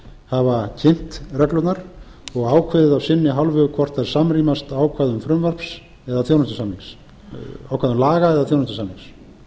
hafa kynnt reglurnar og ákveðið af sinni hálfu hvort þær samrýmast ákvæðum frumvarps eða þjónustusamnings ákveðinna laga eða þjónustusamnings